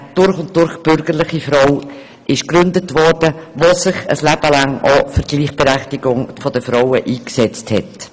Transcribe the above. einer durch und durch bürgerlichen Frau, die sich ihr Leben lang für die Gleichberechtigung der Frauen eingesetzt hat.